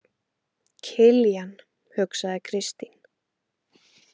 Kiljan, hugsaði Kristín.